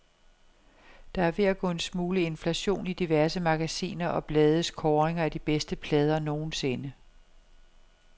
Der er ved at gå en smule inflation i diverse magasiner og blades kåringer af de bedste plader nogensinde.